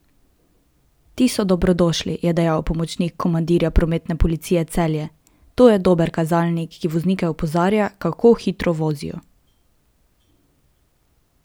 Ti so dobrodošli, je dejal pomočnik komandirja Prometne policije Celje: "To je dober kazalnik, ki voznike opozarja, kako hitro vozijo.